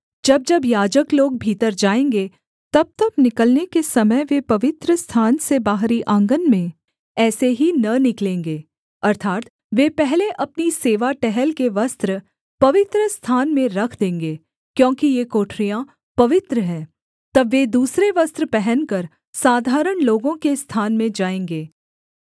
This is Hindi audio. जब जब याजक लोग भीतर जाएँगे तबतब निकलने के समय वे पवित्रस्थान से बाहरी आँगन में ऐसे ही न निकलेंगे अर्थात् वे पहले अपनी सेवा टहल के वस्त्र पवित्रस्थान में रख देंगे क्योंकि ये कोठरियाँ पवित्र हैं तब वे दूसरे वस्त्र पहनकर साधारण लोगों के स्थान में जाएँगे